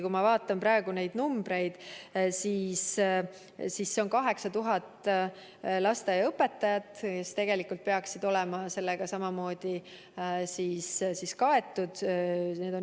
Kui ma praegu neid numbreid vaatan, siis siin on kirjas 8000 lasteaiaõpetajat, kes peaksid samamoodi olema kaetud.